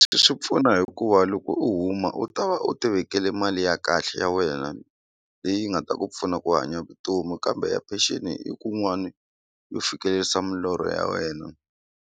Swi pfuna hikuva loko u huma u ta va u ti vekele mali ya kahle ya wena leyi nga ta ku pfuna ku hanya vutomi kambe ya pension i kun'wani yo fikelerisa milorho ya wena.